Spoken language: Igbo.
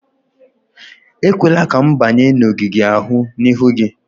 Ekwela ka m banye n'ogige ahụ n'ihu gị!